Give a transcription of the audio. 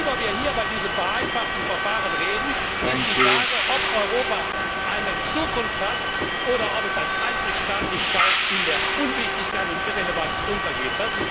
Worüber wir hier bei diesem vereinfachten Verfahren reden, ist die Frage, ob Europa eine Zukunft hat oder ob es als Einzelstaatlichkeit in der Unwichtigkeit und Irrelevanz untergeht.